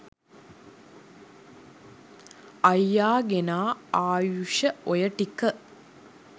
අයියා ගෙනා ආයුෂ ඔය ටික